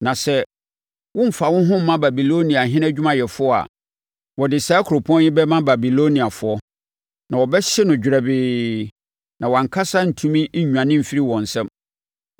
Na sɛ woremfa wo ho mma Babiloniahene adwumayɛfoɔ a, wɔde saa kuropɔn yi bɛma Babiloniafoɔ, na wɔbɛhye no dwerɛbee; na wʼankasa rentumi nnwane mfiri wɔn nsam.’ ”